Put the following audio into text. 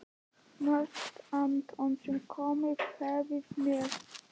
Mest Anton sem komið hafði með